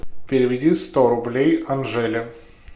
переведи сто рублей анжеле